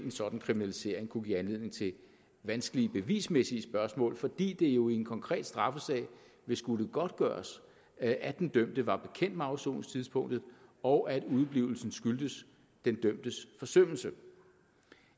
sådan kriminalisering kunne give anledning til vanskelige bevismæssige spørgsmål fordi det jo i en konkret straffesag vil skulle godtgøres at at den dømte var bekendt med afsoningstidspunktet og at udeblivelsen skyldtes den dømtes forsømmelse